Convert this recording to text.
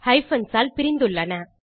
hyphens ஆல் பிரிந்துள்ளன